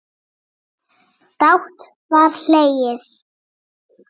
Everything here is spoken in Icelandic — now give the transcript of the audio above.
Dátt var hlegið.